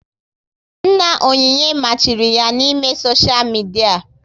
Nna Onyinye machiri ya na ị mee soshia midia